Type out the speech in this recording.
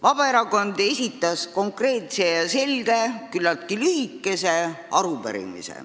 Vabaerakond esitas konkreetse ja selge, küllaltki lühikese arupärimise.